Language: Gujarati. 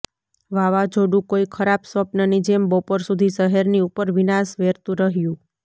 વાવાઝોડું કોઈ ખરાબ સ્વપ્નની જેમ બપોર સુધી શહેરની ઉપર વિનાશ વેરતું રહ્યું